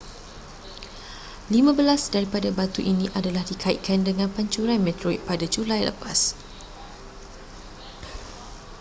lima belas daripada batu ini adalah dikaitkan dengan pancuran meteorit pada julai lepas